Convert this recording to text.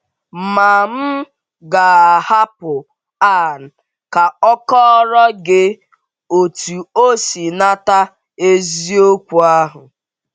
Ma m ga - ahapụ Ann ka ọ kọọrọ gị otú o si nata eziokwu ahụ.